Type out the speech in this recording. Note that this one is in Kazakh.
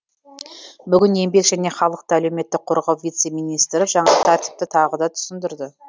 бүгін еңбек және халықты әлеуметтік қорғау вице министрі жаңа тәртіпті тағы да түсіндірді